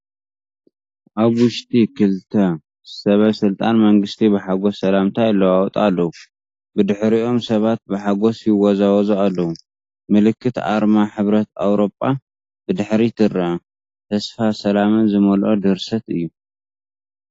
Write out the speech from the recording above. ኣብ ውሽጢ ክልተ ሰበስልጣን መንግስቲ ብሓጎስ ሰላምታ ይለዋወጡ ኣለዉ። ብድሕሪኦም ሰባት ብሓጎስ ይወዛወዙ ኣለዉ። ምልክት ኣርማ ሕብረት ኤውሮጳ ብድሕሪት ይርአ፣ ተስፋን ሰላምን ዝመልኦ ድርሰት እዩ።